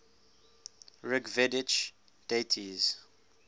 rigvedic deities